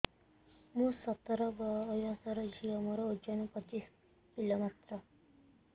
ମୁଁ ସତର ବୟସର ଝିଅ ମୋର ଓଜନ ପଚିଶି କିଲୋ ମାତ୍ର